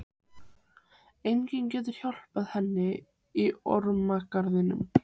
Enginn getur hjálpað henni í ormagarðinum.